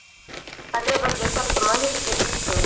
ಅದ್ರ ಬಗ್ಗೆ ಸ್ವಲ್ಪ ಮಾಹಿತಿ ಬೇಕಿತ್ತು.